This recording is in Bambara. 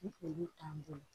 Ni olu t'an bolo